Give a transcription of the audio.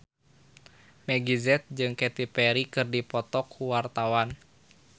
Meggie Z jeung Katy Perry keur dipoto ku wartawan